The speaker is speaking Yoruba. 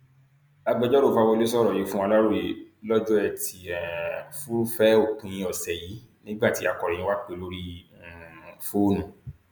lópò ìgbà àwọn aráàlú kì í kíyèsí bí àwọn òṣìṣẹ ìjọba ṣe ń ṣiṣé kára fún ire àwùjọ